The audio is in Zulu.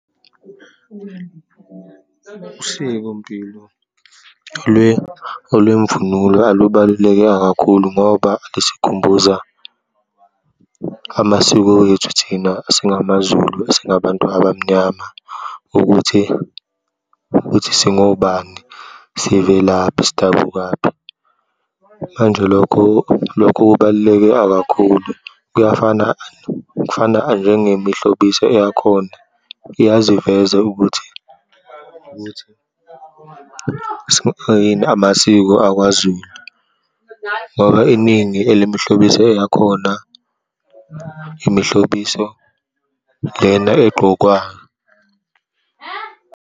Usikompilo olwemvunulo alubaluleke kakhulu ngoba lisikhumbuza amasiko wethu thina singamaZulu, esingabantu abamnyama ukuthi, ukuthi singobani, sivelaphi, sidabukaphi. Manje lokho, lokho kubaluleke akakhulu kuyafana, kufana njengemihlobiso eyakhona iyaziveza ukuthi, ukuthi amasiko akwaZulu, ngoba iningi elimihlobiso eyakhona, imihlobiso lena egqokwa.